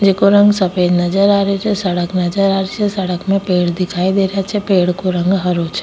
जेको रंग सफेद नजर आ रो छ सड़क नजर आ री छे सड़क में पेड़ दिखाई दे रा छे पेड़ को रंग हरो छे।